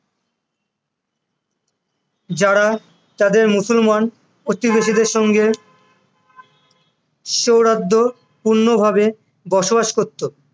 যারা তাদের তাদের মুসলমান প্রতিবেশীদের অঙ্গে সৌহার্দপূর্ণভাবে বসবাস করতো